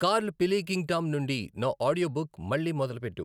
Curl Pilkington నుండి నా audio book మళ్లీ మొదలుపెట్టు.